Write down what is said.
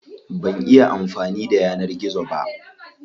Ban iya amfani da yanar gizo ba.